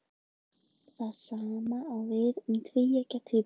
Það sama á við um tvíeggja tvíbura.